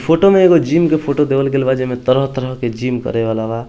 photo में एगो gym के फोटो देल बा जेमे तरह-तरह के जिम करे वाला बा |